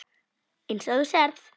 Eins og þú sérð.